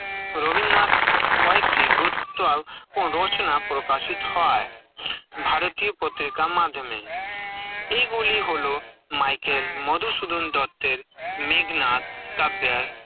রবীন্দ্রনাথ কয়েকটি গুরুত্ত রচনা প্রকাশিত হয়ে, ভারতীয় পত্রিকার মাধ্যমে, এই গুলি হল মাইকেল মধুশুধন দত্তের, মেঘনাথ, কাব্যয়